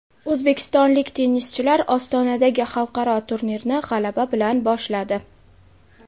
O‘zbekistonlik tennischilar Ostonadagi xalqaro turnirni g‘alaba bilan boshladi.